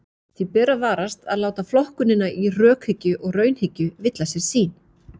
Því ber að varast að láta flokkunina í rökhyggju og raunhyggju villa sér sýn.